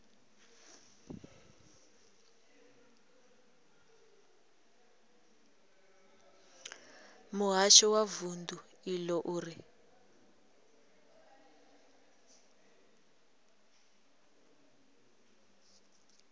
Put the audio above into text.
muhasho wa vundu iḽo uri